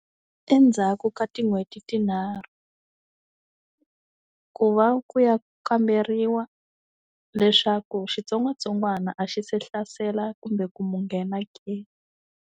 Endzhaku ka tin'hweti tinharhu ku va ku ya kamberiwa leswaku xitsongwatsongwana a xi se hlasela kumbe ku mu nghena ke.